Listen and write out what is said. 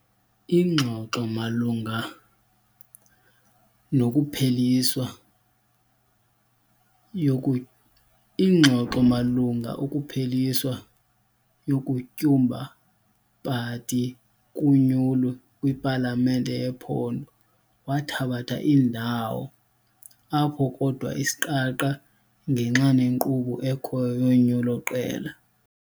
Ingxoxo malunga nokupheliswa ingxoxo malunga ukupheliswa yokutyumba party kunyulo kwipalamente yephondo wathabatha ndawo apho, kodwa isiqaqa ngenxa nenkqubo ekhoyo yonyulo iqela.